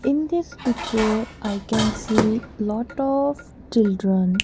in this picture i can see lot of children.